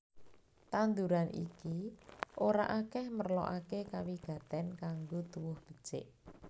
Tanduran iki ora akèh merlokaké kawigatèn kanggo tuwuh becik